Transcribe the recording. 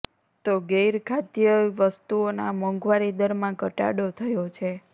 તો ગૈર ખાદ્ય વસ્તુઓનાં મોંઘવારી દરમાં ઘટાડો થયો છે